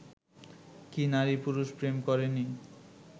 কি নারী-পুরুষ প্রেম করেনি